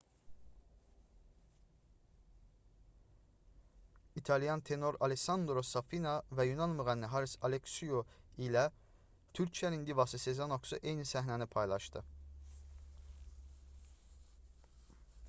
i̇talyan tenor allessandro safina və yunan müğənni haris aleksiu ilə türkiyənin divası sezen aksu eyni səhnəni paylaşdı